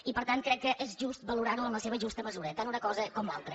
i per tant crec que és just valorar ho en la seva justa mesura tant una cosa com l’altra